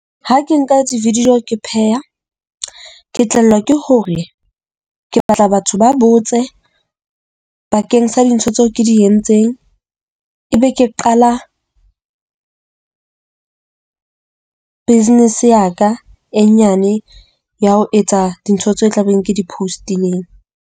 Ha ke nka di-video ke pheha, ke tlelwa ke hore ke batla batho ba botse bakeng sa dintho tseo ke di entseng. Ebe ke qala business ya ka e nyane, ya ho etsa dintho tseo tla beng ke di post-ileng.